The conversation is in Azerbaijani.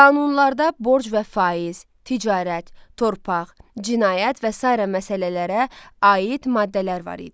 Qanunlarda borc və faiz, ticarət, torpaq, cinayət və sair məsələlərə aid maddələr var idi.